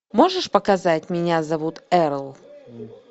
можешь показать меня зовут эрл